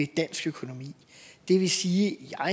dansk økonomi det vil sige